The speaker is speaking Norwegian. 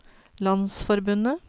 landsforbundet